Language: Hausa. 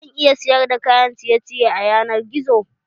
Zan iya sayar da kayan ciye ciye a yanar gizo?